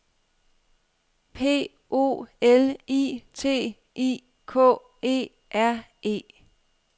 P O L I T I K E R E